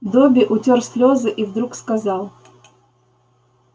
добби утёр слезы и вдруг сказал